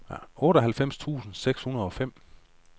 otteoghalvfems tusind seks hundrede og fem